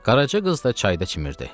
Qaraca qız da çayda çimirdi.